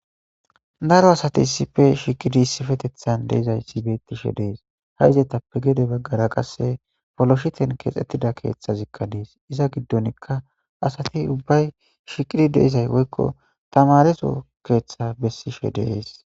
Daro asati sife shiqidi sifetethan deizay sibeetishe dees ha izetappe gede baggara qasse foloshiten keexxettida keeththazikka dees iza giddonikka asati ubbay shiqidi deizay woykko tamareso keeththa bessishe deees.